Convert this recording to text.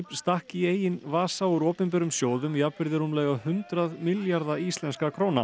stakk í eigin vasa úr opinberum sjóðum jafnvirði rúmlega hundrað milljarða íslenskra króna